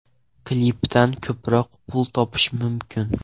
Klipdan ko‘proq pul topish mumkin.